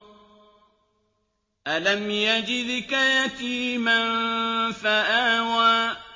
أَلَمْ يَجِدْكَ يَتِيمًا فَآوَىٰ